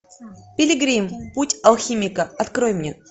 пилигрим путь алхимика открой мне